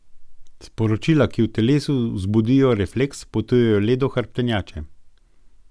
Sporočila, ki v telesu vzbudijo refleks, potujejo le do hrbtenjače.